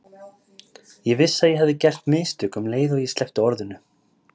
Ég vissi að ég hefði gert mistök um leið og ég sleppti orðinu.